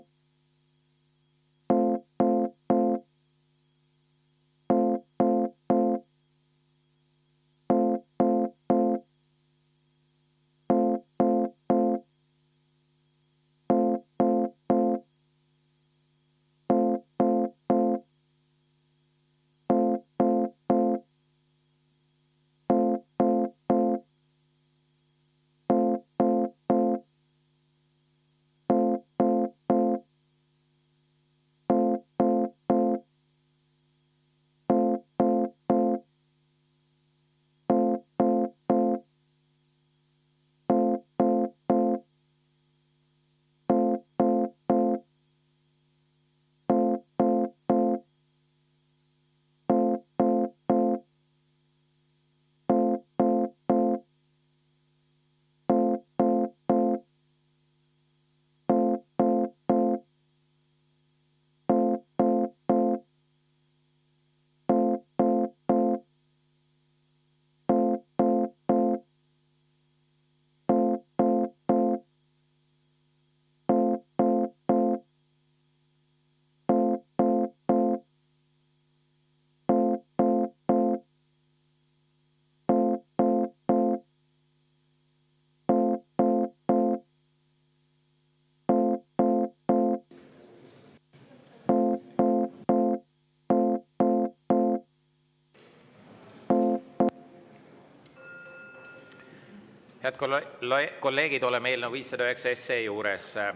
Head kolleegid, oleme eelnõu 509 juures.